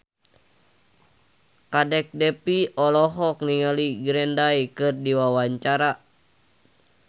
Kadek Devi olohok ningali Green Day keur diwawancara